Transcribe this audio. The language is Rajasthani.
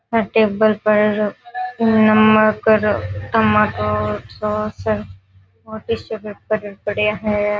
आ टेबल पर नमक र टमाटो सॉस और टिसू पेपर पड़िया है।